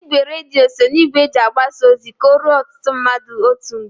Igwe redio so na igwe eji agbasa ozi ka o ruo ọtụtụ mmadụ otu mgbe.